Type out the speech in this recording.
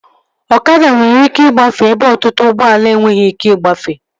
Ọkada nwere ike igafee ebe ọtụtụ ụgbọala enweghị ike igafee